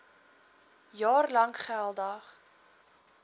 jaar lank geldig